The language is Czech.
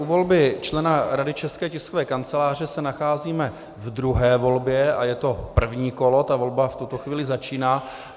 U volby člena Rady České tiskové kanceláře se nacházíme v druhé volbě a je to první kolo, ta volba v tuto chvíli začíná.